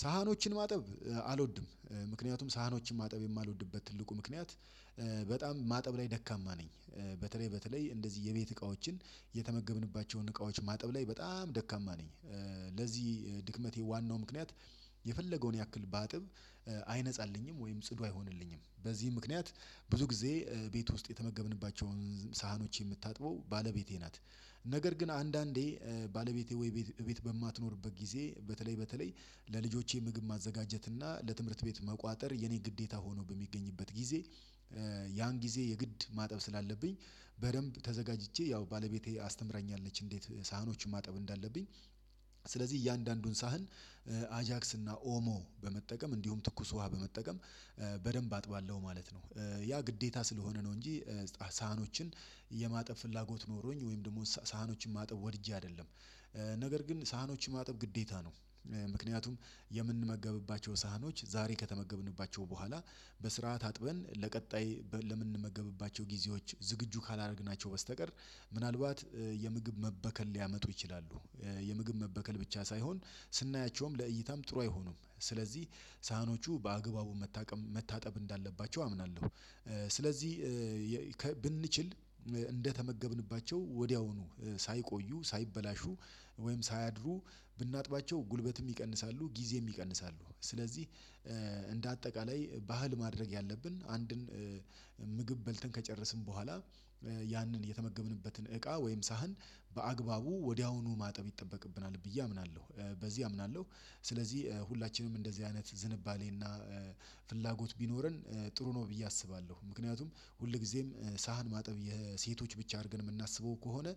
ሳህኖችን ማጠብ አልወድም ምክንያቱም ሳሃኖችን ማጠብ የማልወድበት ትልቁ ምክንያት በጣም ማጠብ ላይ ደካማ ነኝ። በተለይ በተለይ እንደዚህ የቤት እቃዎችን የተመገብንባቸውን እቃዎች ማጠብ ላይ በጣም ደካማ ነኝ። ለዚህ ድክመቴ ዋናው ምክንያት የፈለገውን ያክል ባጥብ አይነጻልኝም ወይም ጽዱ አይሆንልኝም በዚህ ምክንያት ብዙ ጊዜ ቤት ውስጥ የተመገብንባቸውን ሳሀኖች የምታጥበው ባለቤቴ ናት። ነገር ግን አንዳንዴ ባለቤቴ ወይ ቤት በማትኖርበት ጊዜ በተለይ በተለይ ለልጆቼ ምግብ ማዘጋጀት እና ለትምህርት ቤት መቋጠር የኔ ግዴታ ሆኖ በሚገኝበት ጊዜ። ያን ጊዜ የግድ ማጠብ ስላለብኝ በደንብ ተዘጋጅቼ ያው ባለቤቴ አስተምራኛለች እንዴት ሳህኖችን ማጠብ እንዳለብኝ። ስለዚህ እያንዳንዱን ሳህን አጃክስ እና ኦሞ በመጠቀም እንዲሁም ትኩስ ውሃ በመጠቀም በደንብ አጥባለሁ ማለት ነው ያ ግዴታ ስለሆነ ነው እንጂ። ሳህኖችን የማጠብ ፍላጎት ኖሮኝ ወይም ደግሞ ሳህኖችን ማጠብ ወድጄ አይደለም። ነገር ግን ሳህኖች ማጠብ ግዴታ ነው። ምክንያቱም የምንመገብባቸው ሳህኖች ዛሬ ከተመገብንባቸው በኋላ በስርዓት አጥበን ለቀጣይ ለምንመገብባቸው ጊዜዎች ዝግጁ ካላደረግናቸው በስተቀር ምናልባት የምግብ መበከል ሊያመጡ ይችላሉ። የምግብ መበከል ብቻ ሳይሆን ስናያቸውም ለእይታም ጥሩ አይሆኑም። ስለዚህ ሳህኖቹ በአግባቡ መታጠብ እንዳለባቸው አምናለሁ። ስለዚህ ብንችል እንደተመገብንባቸው ወዲያውኑ ሳይቆዩ ሳይበላሹ ወይም ሳያድሩ ብናጥባቸው ጉልበትም ይቀንሳሉ ጊዜም ይቀንሳሉ። ስለዚህ እንደ አጠቃላይ ባህል ማድረግ ያለብን አንድን ምግብ በልተን ከጨረስን በኋላ ያንን የተመገብንበትን እቃ ወይም ሳህን በአግባቡ ወዲያውኑ ማጠብ ይጠበቅብናል ብዬ አምናለሁ። በዚህ አምናለሁ ስለዚህ ሁላችንም እንደዚህ አይነት ዝንባሌና ፍላጎት ቢኖረን ጥሩ ነው ብዬ አስባለሁ። ምክንያቱም ሁልጊዜም ሳህን ማጠብ የሴቶች ብቻ አርገን የምናስበው ከሆነ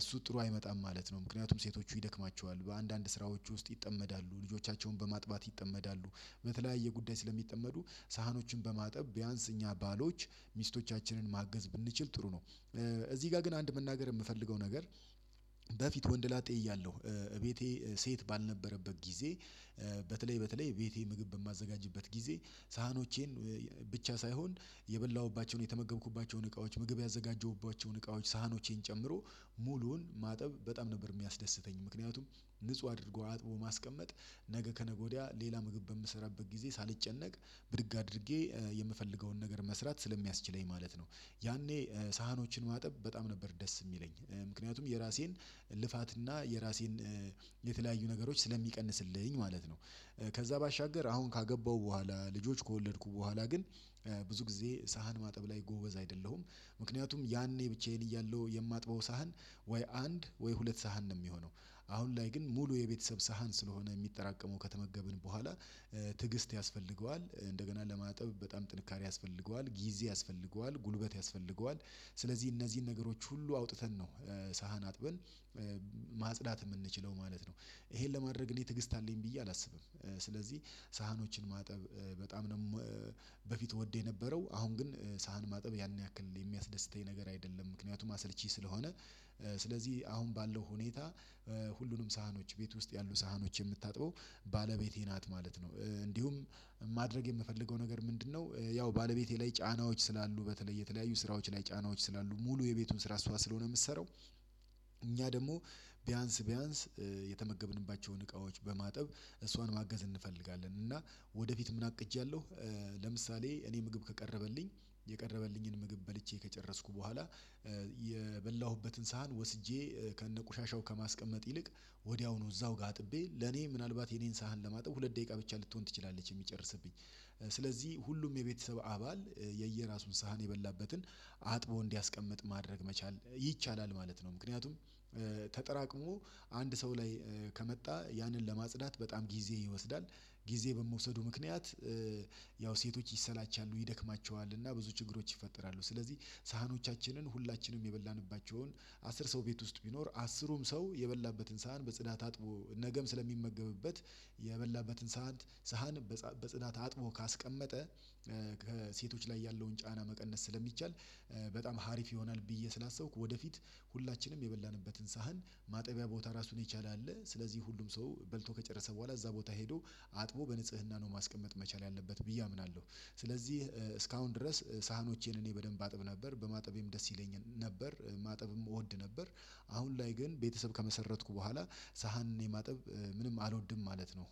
እሱ ጥሩ አይመጣም ማለት ነው። ምክንያቱም ሴቶቹ ይደክማቸዋል በአንዳንድ ስራዎች ውስጥ ይጠመዳሉ ልጆቻቸውን በማጥባት ይጠመዳሉ በተለያየ ጉዳይ ስለሚጠመዱ ሳህኖችን በማጠብ ቢያንስ እኛ ባሎች ሚስቶቻችንን ማገዝ ብንችል ጥሩ ነው። እዚህ ጋር ግን አንድ መናገር የምፈልገው ነገር። በፊት ወንደ ላጤ እያለሁ እቤቴ ሴት ባልነበረበት ጊዜ በተለይ በተለይ ቤቴ ምግብ በማዘጋጅበት ጊዜ ሳህኖቼን ብቻ ሳይሆን የበላሁባቸውን የተመገብኩባቸውን እቃዎች ምግብ ያዘጋጀሁባቸውን እቃዎች ሳህኖቼን ጨምሮ ሙሉውን ማጠብ በጣም ነበር የሚያስደስተኝ ምክንያቱም ንጹህ አድርጎ አጥቦ ማስቀመጥ ነገ ከነገ ወዲያ ሌላ ምግብ በምሰራበት ጊዜ ሳልጨነቅ ብድግ አድርጌ የምፈልገውን ነገር መስራት ስለሚያስችለኝ ማለት ነው። ያኔ ሳህኖችን ማጠብ በጣም ነበር ደስ የሚለኝ ምክንያቱም የራሴን ልፋትና የራሴን የተለያዩ ነገሮች ስለሚቀንስልኝ ማለት ነው። ከዛ ባሻገር አሁን ካገባሁ በኋላ ልጆች ከወለድኩ በኋላ ግን ብዙ ጊዜ ሳህን ማጠብ ላይ ጎበዝ አይደለሁም። ምክንያቱም ያኔ ብቻዬን እያለሁ የማጥበው ሳህን ወይ አንድ ወይ ሁለት ሳህን ነው የሚሆነው አሁን ላይ ግን ሙሉ የቤተሰብ ሳህን ስለሆነ የሚጠራቀመው ከተመገብን በኋላ። ትዕግስት ያስፈልገዋል እንደገና ለማጠብ በጣም ጥንካሬ ያስፈልገዋል ጊዜ ያስፈልገዋል ጉልበት ያስፈልገዋል። ስለዚህ እነዚህን ነገሮች ሁሉ አውጥተን ነው ሳህን አጥበን ማጽዳት የምንችለው ማለት ነው። ይሄን ለማድረግ እኔ ትግስት አለኝ ብዬ አላስብም። ስለዚህ ሳህኖችን ማጠብ በጣም ደግሞ በፊት ወደው የነበረው አሁን ግን ሳህን ማጠብ ያን ያክል የሚያስደስተኝ ነገር አይደለም ምክንያቱም አሰልቺ ስለሆነ። ስለዚህ አሁን ባለው ሁኔታ ሁሉንም ሳህኖች ቤት ውስጥ ያሉ ሳህኖች የምታጥበው ባለቤቴ ናት ማለት ነው። እንዲሁም ማድረግ የምፈልገው ነገር ምንድነው? ያው ባለቤቴ ላይ ጫናዎች ስላሉ በተለይ የተለያዩ ስራዎች ላይ ጫናዎች ስላሉ ሙሉ የቤቱን ስራ እሷ ስለሆነ የምትሰራው። እኛ ደግሞ ቢያንስ ቢያንስ የተመገብንባቸውን እቃዎች በማጥብ እሷን ማገዝ እንፈልጋለን እና ወደፊት ምን አቅጃለሁ። ለምሳሌ እኔ ምግብ ከቀረበልኝ የቀረበልኝን ምግብ በልቼ ከጨረስኩ በኋላ የበላሁበትን ሳህን ወስጄ ከነቆሻሻው ከማስቀመጥ ይልቅ ወዲያውኑ እዛው ጋር አጥቤ ለኔ ምናልባት የኔን ሳህን ለማጥብ ሁለት ደቂቃ ብቻ ልትሆን ትችላለች የሚጨርስብኝ። ስለዚህ ሁሉም የቤተሰብ አባል የየራሱን ሳህን የበላበትን አጥቦ እንዲያስቀምጥ ማድረግ መቻል ይቻላል ማለት ነው። ምክንያቱም ተጠራቅሞ አንድ ሰው ላይ ከመጣ ያንን ለማጽዳት በጣም ጊዜ ይወስዳል። ጊዜ በምውሰዱ ምክንያት ያው ሴቶች ይሰላቻሉ ይደክማቸዋልና ብዙ ችግሮች ይፈጠራሉ። ስለዚህ ሳህኖቻችንን ሁላችንም የበላንባቸውን አስር ሰው ቤት ውስጥ ቢኖር አስሩም ሰው የበላበትን ሳህን በጽዳት አጥቦ ነገም ስለሚመገብበት የበላበትን ሳህን ሳህን በጽዳት አጥቦ ካስቀመጠ። ሴቶች ላይ ያለውን ጫና መቀነስ ስለሚቻል በጣም ሀሪፍ ይሆናል ብዬ ስላሰብኩ። ወደፊት ሁላችንም የበላንበትን ሳህን ማጠቢያ ቦታ ራሱን የቻለ አለ ስለዚህ ሁሉም ሰው በልቶ ከጨረሰ በኋላ እዛ ቦታ ሄዶ አጥቦ በንጽህና ነው ማስቀመጥ መቻል ያለበት ብዬ አምናለሁ። ስለዚህ እስካሁን ድረስ ሳህኖቼን እኔ በደንብ አጥብ ነበር በማጠቤም ደስ ይለኝ ነበር ማጠብም እወድ ነበር። አሁን ላይ ግን ቤተሰብ ከመሰረትኩ በኋላ ሳህን የማጠብ ምንም አልወድም ማለት ነው።